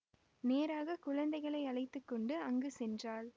நேராக குழந்தைகளை அழைத்து கொண்டு அங்கு சென்றாள்